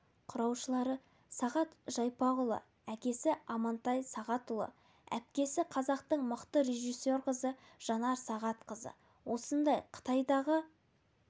құрушылары сағат жайпақұлы әкесі амантай сағатұлы әпкесі қазақтың мықты режиссер қызы жанар сағатқызы осындай қытайдағы